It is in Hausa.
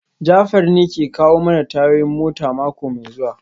Jafar ne ke kawo mana tayoyin mota mako mai zuwa